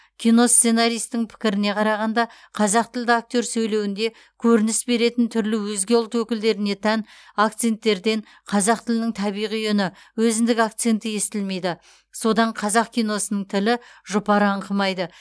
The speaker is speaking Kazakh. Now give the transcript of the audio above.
киносценаристің пікіріне қарағанда қазақтілді актер сөйлеуінде көрініс беретін түрлі өзге ұлт өкілдеріне тән акценттерден қазақ тілінің табиғи үні өзіндік акценті естілмейді содан қазақ киносының тілі жұпар аңқымайды